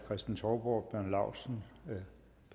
kristen touborg bjarne laustsen